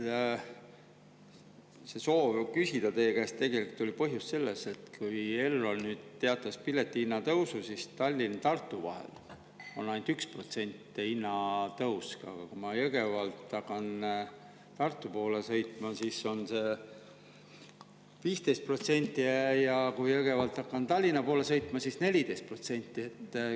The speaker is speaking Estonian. Aga tegelik põhjus, miks ma soovisin küsida teie käest, oli selles, et kui Elron nüüd teatas piletihinna tõusust, siis Tallinna ja Tartu vahel on hinnatõus ainult 1%, aga kui ma Jõgevalt hakkan Tartu poole sõitma, siis on see 15%, ja kui Jõgevalt hakkan Tallinna poole sõitma, siis 14%.